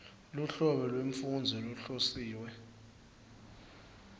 luhlobo lwemfundzi lohlosiwe